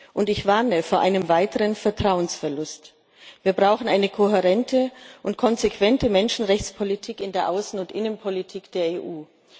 Und ich warne vor einem weiteren Vertrauensverlust. Wir brauchen eine kohärente und konsequente Menschenrechtspolitik in der Außen und in der Innenpolitik der EU.